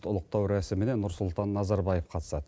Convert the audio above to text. ұлықтау рәсіміне нұрсұлтан назарбаев қатысады